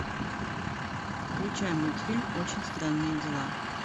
включай мультфильм очень странные дела